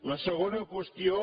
la segona qüestió